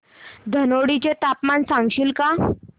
धनोडी चे तापमान सांगशील का